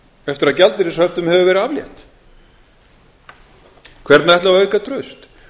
eftir að gjaldeyrishöftum hefur verið aflétt hvernig ætlum við að auka traust